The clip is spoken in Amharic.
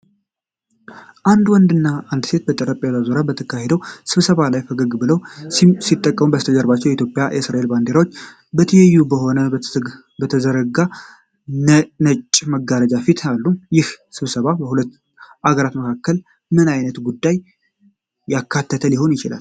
አንድ ወንድና አንዲት ሴት በጠረጴዛ ዙሪያ በተካሄደው ስብሰባ ላይ ፈገግ ብለው ሲቀመጡ፣ ከበስተጀርባው የኢትዮጵያና የእስራኤል ባንዲራዎች በትይዩ ሆነው በተዘረጋ ነጭ መጋረጃ ፊት አሉ። ይህ ስብሰባ በሁለቱ አገሮች መካከል ምን ዓይነት ጉዳዮችን ያካተተ ሊሆን ይችላል?